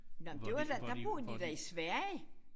Nåh men det var da der boede de da i Sverige